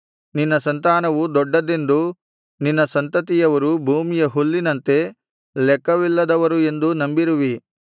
ನಿನ್ನ ಸಂತಾನವು ದೊಡ್ಡದ್ದೆಂದೂ ನಿನ್ನ ಸಂತತಿಯವರು ಭೂಮಿಯ ಹುಲ್ಲಿನಂತೆ ಲೆಕ್ಕವಿಲ್ಲದವರು ಎಂದೂ ನಂಬಿರುವಿ